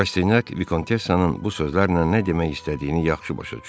Rastinyak Vikontessanın bu sözlərlə nə demək istədiyini yaxşı başa düşürdü.